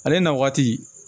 Ale na waati